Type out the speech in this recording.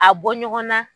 A bɔ ɲɔgɔn na